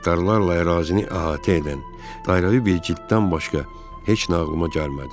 Hektarlarla ərazini əhatə edən, dairəvi bir cilddən başqa heç nə ağlıma gəlmədi.